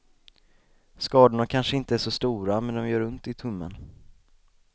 Skadorna kanske inte är så stora, men det gör ont i tummen.